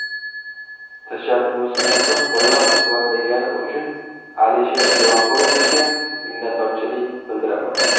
Tashabbusimizni qo‘llab-quvvatlagani uchun Alisher Jo‘raqulovichga minnatdorchilik bildiraman.